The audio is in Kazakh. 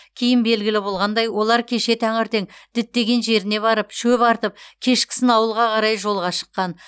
кейін белгілі болғандай олар кеше таңертең діттеген жеріне барып шөп артып кешкісін ауылға қарай жолға шыққан